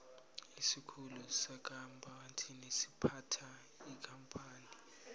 isikhulu sekampani siphatha ikampani